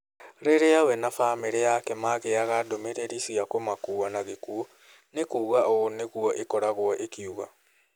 Rĩrĩa we na bamirĩ yake magĩaga ndũmĩrĩri cia kũmakua na gĩkuũ , ni kuuga ũũ nĩ gũo ĩkoragwo ikiuga.